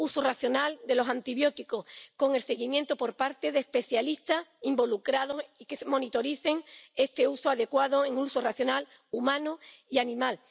uso racional de los antibióticos, con el seguimiento por parte de especialistas involucrados y que monitoricen este uso adecuado, un uso racional, humano y animal.